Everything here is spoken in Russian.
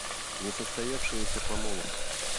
несостоявшаяся помолвка